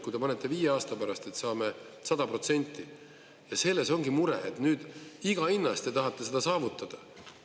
Kui te panete viie aasta pärast, et saame 100%, ja selles ongi mure, et nüüd iga hinna eest te tahate seda saavutada.